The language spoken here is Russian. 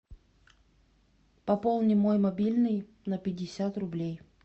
пополни мой мобильный на пятьдесят рублей